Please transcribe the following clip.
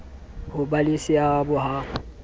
ho ba le seabo ha